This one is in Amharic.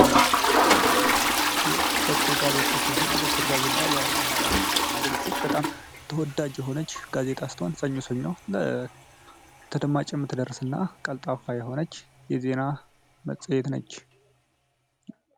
በኩር ጋዜጣ ሲሆን በኩር ጋዜጣ በአማራ ያኮቁሎሴት በጣም ተወዳጅ የሆነች ጋዜታ ስትሆን ሰኞ ሰኛ ለ ተደማጨምት ደረስ እና ቀልጣፋ የሆነች የዜና መፀየት ነች